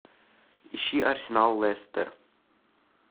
ищи арсенал лестер